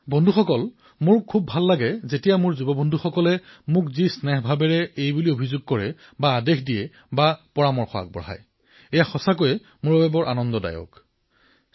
বন্ধুসকল মন কী বাতত মোৰ এই কথাটোৱেই আটাইতকৈ ভাল লাগে মোৰ তৰুণ বন্ধুবান্ধৱীসকলে মোক যি অধিকাৰ আৰু স্নেহেৰে অভিযোগ কৰে আদেশ দিয়ে প্ৰস্তাৱ দিয়ে এয়া প্ৰত্যক্ষ কৰি মই সন্তোষ পাও